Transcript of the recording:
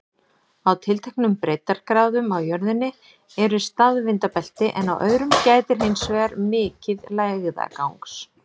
Á tilteknum breiddargráðum á jörðinni eru staðvindabelti, en á öðrum gætir hins vegar mikið lægðagangs.